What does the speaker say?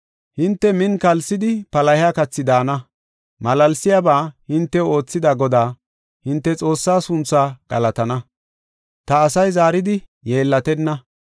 Hinte min kalsidi palahiya kathi daana; malaalsiyaba hintew oothida Godaa; hinte Xoossa sunthu galatana; ta asay zaaridi yeellatenna.